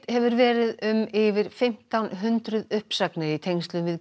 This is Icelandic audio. hefur verið um yfir fimmtán hundruð uppsagnir í tengslum við